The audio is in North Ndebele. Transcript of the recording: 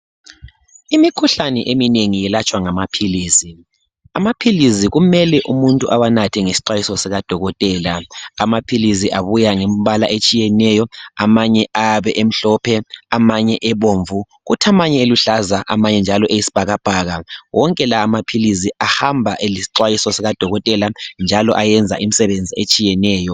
Imikhuhlane. Eminengi yelatshwa ngamaphilisi amaphilisi kumele umuntu ewanathe ngesixwayiso sikadokotela amaphilisi abuya ngembala etshiyeneyo amanye ayabe amhlophe amanye ebomvu kuthi amanye eluhlaza amanye njalo eyisbhakabhaka wonke lamaphilisi ahamba elisixwayiso sikadokotela njalo ayenza imsebenzi etshiyeneyo